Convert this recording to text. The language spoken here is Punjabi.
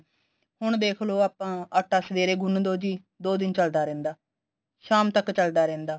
ਹੁਣ ਦੇਖਲੋ ਆਪਾਂ ਆਟਾ ਸਵੇਰੇ ਗੁੰਨ ਦੋ ਜੀ ਦੋ ਦਿਨ ਚੱਲਦਾ ਰਹਿੰਦਾ ਸ਼ਾਮ ਤੱਕ ਚੱਲਦਾ ਰਹਿੰਦਾ